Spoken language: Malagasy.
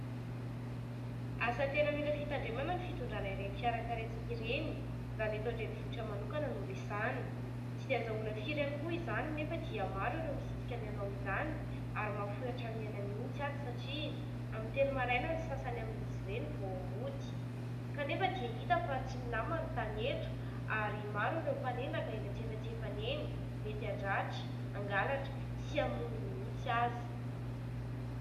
Asa tena mila fitandremana ny fitondrana ireny fiara karetsaka ireny raha ny eto an-drenivohitra manokana no resahana. Tsy dia azahoana firy ihany koa izany nefa dia maro ireo misisika ny hanao izany ary mahafoy hatramin'ny aina mihitsy aza satria amin'ny telo maraina ny sasany amin'izy ireny vao mody. Kanefa dia hita fa tsy milamina ny tany eto ary maro ireo mpanendaka eny antsefatsefany eny, mety handratra, hangalatra sy hamono mihitsy aza.